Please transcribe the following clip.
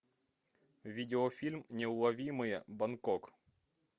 видеофильм неуловимые бангкок